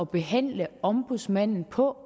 behandle ombudsmanden på